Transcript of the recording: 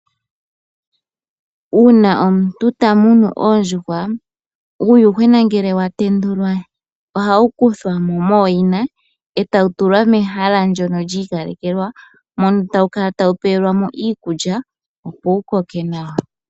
Uuna omuntu ta munu oondjuhwa uuyuhwena ngele wa tendulwa ohawu kuthwa mo mooyina e tawu tulwa mehala ndyono lyi ikalekelwa mono tawu kala tawu peelwa mo iikulya, opo wu koke nawa.